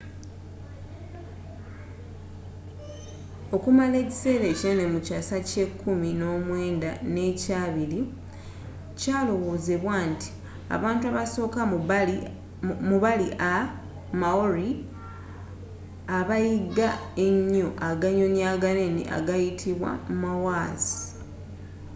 okumala ekisera kinene mu kyasa ky'ekumi n'omwenda n'ekyabili kyalowozebwa nti abantu abasoka mu bali a maori abaayiga enyo aganyonyi aganene agayitibwa moas